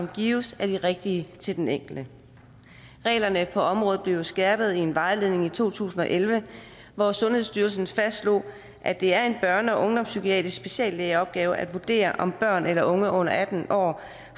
gives er de rigtige til den enkelte reglerne på området blev jo skærpet i en vejledning i to tusind og elleve hvor sundhedsstyrelsen fastslog at det er en børne og ungdomspsykiatrisk speciallægeopgave at vurdere om børn eller unge under atten år